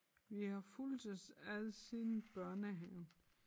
Vi har fulgtes ad siden børnehaven